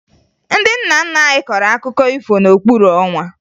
Ndị nna nna anyị kọrọ akụkọ ifo n'okpuru ọnwa